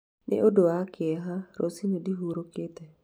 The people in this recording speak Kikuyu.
Nĩ ũndũ wa kĩeha, rũciũ ndĩhurũkĩte.